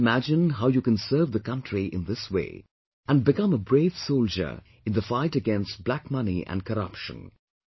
You can't imagine how you can serve the country in this way and become a brave soldier in the fight against black money and corruption